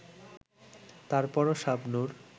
তারপরও শাবনূর